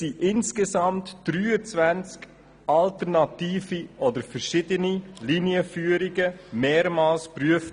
Insgesamt wurden 23 verschiedene Linienführungen mehrmals geprüft.